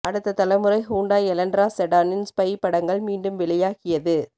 அடுத்த தலைமுறை Hyundai Elantra செடானின் ஸ்பை படங்கள் மீண்டும் வெளியாகியது